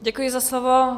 Děkuji za slovo.